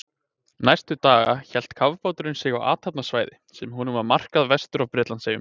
Næstu daga hélt kafbáturinn sig á athafnasvæði, sem honum var markað vestur af Bretlandseyjum.